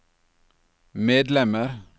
medlemmer